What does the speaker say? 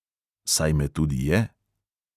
Saj me tudi je ...